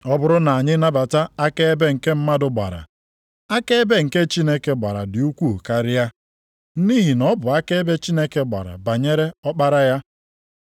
Ọ bụrụ na anyị nabata akaebe nke mmadụ gbara, akaebe nke Chineke gbara dị ukwuu karịa, nʼihi na ọ bụ akaebe Chineke gbara banyere Ọkpara ya.